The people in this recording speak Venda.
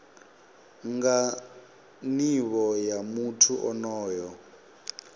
nga nivho ya muthu onoyo